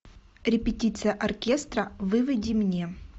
репетиция оркестра выведи мне